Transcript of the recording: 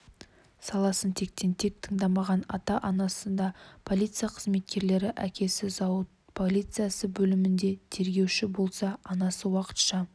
саласын тектен-тек таңдамаған ата-анасы да полиция қызметкерлері әкесі зауыт полиция бөлімінде тергеуші болса анасы уақытша